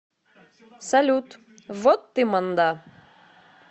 салют вот ты манда